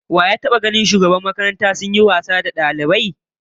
Wa ya taba ganin shugaban mallaman makaranta sun yi wasanni tare da dalibai?